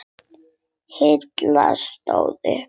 Halli stóð upp.